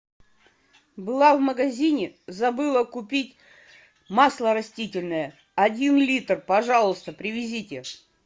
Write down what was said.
была в магазине забыла купить масло растительное один литр пожалуйста привезите